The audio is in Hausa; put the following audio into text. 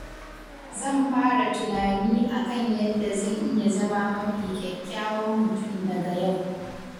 Zan fara tunani a kan yadda zan iya zama mafi kyakkyawan mutum daga yau.